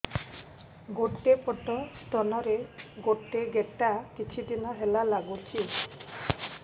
ଗୋଟେ ପଟ ସ୍ତନ ରେ ଗୋଟେ ଗେଟା କିଛି ଦିନ ହେଲା ଲାଗୁଛି